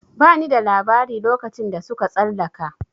Ba ni da labari lokacin da suka tsalaka